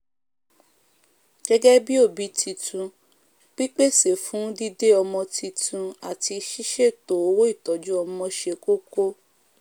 gégé bí òbí titun pípèsè fún dídé ọmọ titun àti sísètò owóìtójú ọmọ se kókó